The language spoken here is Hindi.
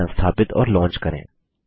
इसे संस्थापित और लॉन्च करें